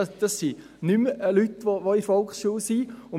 Dies sind nicht mehr Leute, die in der Volksschule sind.